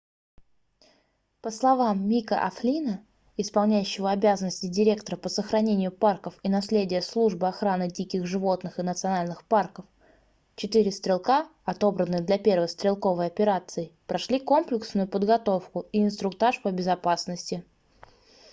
по словам мика о'флинна исполняющего обязанности директора по сохранению парков и наследия службы охраны диких животных и национальных парков четыре стрелка отобранные для первой стрелковой операции прошли комплексную подготовку и инструктаж по безопасности